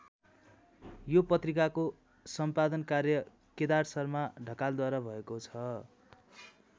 यो पत्रिकाको सम्पादन कार्य केदार शर्मा ढकालद्वारा भएको छ।